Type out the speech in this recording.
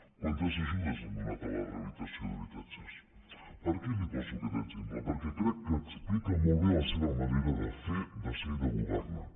quantes ajudes han donat a la rehabilitació d’habitatges per què li poso aquest exemple perquè crec que explica molt bé la seva manera de fer de ser i de governar